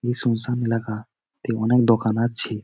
শুনসান এলাকা তে অনেক দোকান আছে।